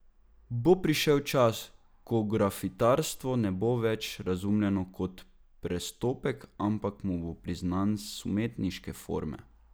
Bo prišel čas, ko grafitarstvo ne bo več razumljeno kot prestopek, ampak mu bo priznan status legitimne umetniške forme?